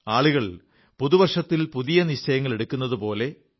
ആളുകൾ പുതു വർഷത്തിൽ പൂതിയ നിശ്ചയങ്ങളെടുക്കുന്നതുപോലെ